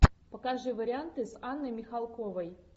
покажи варианты с анной михалковой